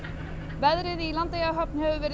veðrið í Landeyjahöfn hefur verið